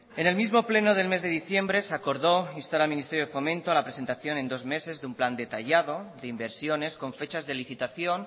en el mismo pleno del mes de diciembre se acordó instar al ministerio de fomento a la presentación en dos meses de un plan detallado de inversiones con fechas de licitación